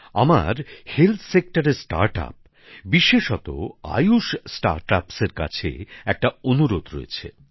আমার স্বাস্থ্য ক্ষেত্রে নতুন শিল্পোদ্যোগ বা স্টার্টআপ্সের বিশেষতঃ আয়ুষ স্টার্টআপ্সের কাছে একটা অনুরোধ রয়েছে